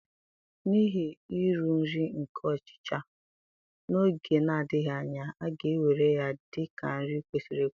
N'ihi uru nri nke ọchịcha, n'oge na-adịghị anya, a ga-ewere ya dị ka nri kwesịrị ekwesị.